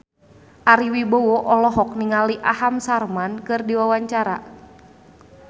Ari Wibowo olohok ningali Aham Sharma keur diwawancara